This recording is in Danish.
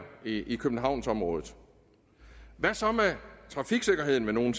i københavnsområdet hvad så med trafiksikkerheden vil nogle